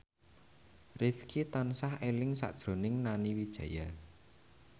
Rifqi tansah eling sakjroning Nani Wijaya